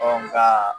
nka